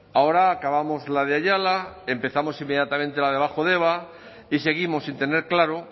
ahora acabamos la de ayala empezamos inmediatamente la de bajo deba y seguimos sin tener claro